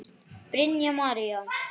Brynja María.